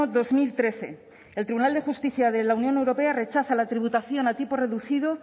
dos mil trece el tribunal de justicia de la unión europea rechaza la tributación a tipo reducido